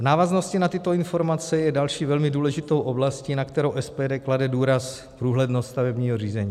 V návaznosti na tyto informace je další velmi důležitou oblastí, na kterou SPD klade důraz, průhlednost stavebního řízení.